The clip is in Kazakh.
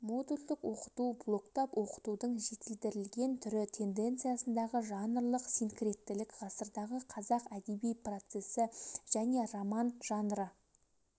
модульдік оқыту блоктап оқытудың жетілдірілген түрі тенденциясындағы жанрлық синкреттілік ғасырдағы қазақ әдеби процесі және роман жанры